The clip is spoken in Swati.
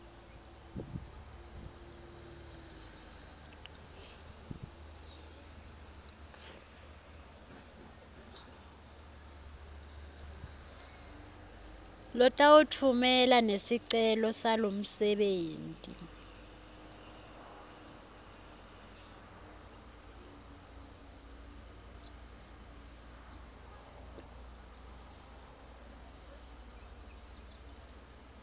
lotawutfumela nesicelo salomsebenti